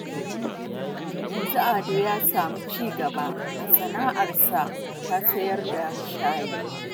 Yanzu Ado ya samu ci gaba a sana'arsa ta sayar da shayi